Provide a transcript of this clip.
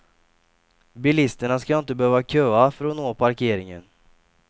Bilisterna ska inte behöva köa för att nå parkeringen.